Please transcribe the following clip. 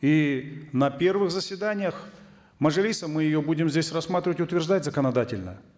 и на первых заседаниях мажилиса мы ее будем здесь рассматривать утверждать законодательно